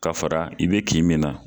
Ka fara i bi kin min na